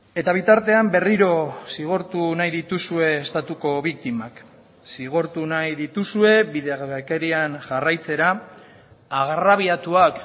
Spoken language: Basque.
eta bitartean berriro zigortu nahi dituzue estatuko biktimak zigortu nahi dituzue bidegabekerian jarraitzera agrabiatuak